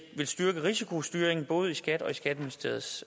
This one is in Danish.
styrke risikostyringen både i skat og i skatteministeriets